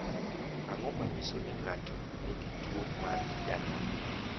Ang’o ma nyiso ni ng’ato nigi tuwo mar Danon?